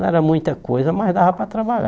Não era muita coisa, mas dava para trabalhar.